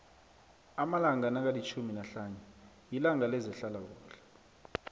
amalanga nakilitjhumi nahlanu yilanga lezehlala kuhle